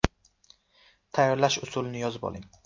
Tayyorlash usulini yozib oling.